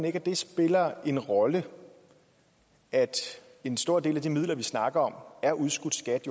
ikke at det spiller en rolle at en stor del af de midler vi snakker om er udskudt skat